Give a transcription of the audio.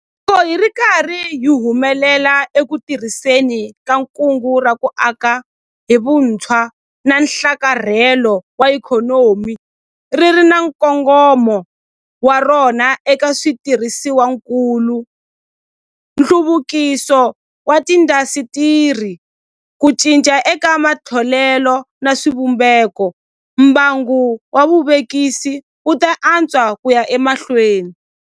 Loko hi ri karhi hi humelela eku tirhiseni ka Kungu ra ku Aka hi Vutshwa na Nhlakarhelo wa Ikhonomi - ri ri na nkongomo wa rona eka switirhisiwakulu, nhluvukiso wa tiindasitiri, ku cinca eka matholelo na swivumbeko - mbangu wa vuvekisi wu ta antswa ku ya emahlweni.